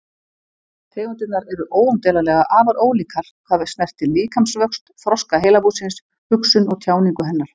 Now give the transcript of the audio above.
Tegundirnar eru óumdeilanlega afar ólíkar hvað snertir líkamsvöxt, þroska heilabúsins, hugsun og tjáningu hennar.